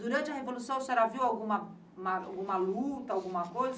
Durante a Revolução, a senhora viu alguma alguma luta, alguma coisa